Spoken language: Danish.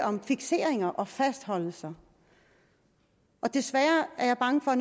om fikseringer og fastholdelser og desværre er jeg bange for at